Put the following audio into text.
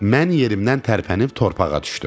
Mən yerimdən tərpənib torpağa düşdüm.